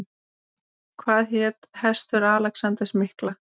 Hvað hét hestur Alexanders mikla?